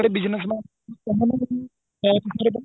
ਤਕੜੇ business man ਉਹਨਾ ਦਾ